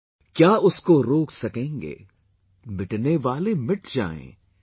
KYA USKO ROK SAKENGE, MITNE WALE MIT JAYIEN,